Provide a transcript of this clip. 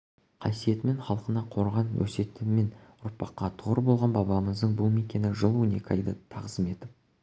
қасиетімен халқына қорған өсиетімен ұрпаққа тұғыр болған бабамыздың бұл мекені жыл он екі айда тағзым етіп